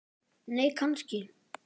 nei kannski